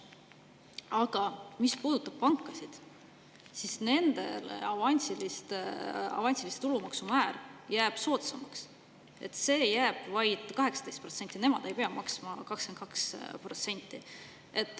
Aga mis puudutab pankasid, siis nendel jääb avansilise tulumaksu määr soodsamaks, selleks jääb vaid 18%, nemad ei pea maksma 22%.